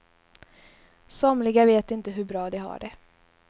Somliga vet inte hur bra de har det.